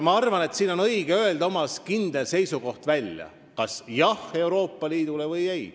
Ma arvan, et siin on õige välja öelda oma kindel seisukoht, kas jah või ei Euroopa Liidule.